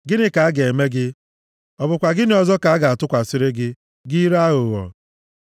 Gịnị ka a ga-eme gị, ọ bụkwa gịnị ọzọ ka a gatụkwasịri gị, gị ire aghụghọ?